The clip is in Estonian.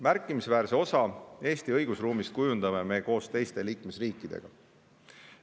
Märkimisväärset osa Eesti õigusruumist kujundame me koos teiste liikmesriikidega.